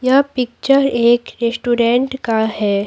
यह पिक्चर एक रेस्टोरेंट का है।